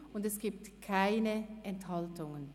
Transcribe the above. Und es gibt keine Enthaltungen.